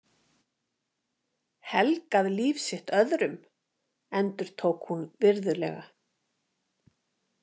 Helgað líf sitt öðrum, endurtók hún virðulega.